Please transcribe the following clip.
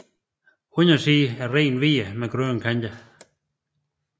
Undersiden er rent hvid med grønne kanter